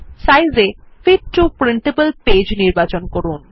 size এ fit to printable page নির্বাচন করুন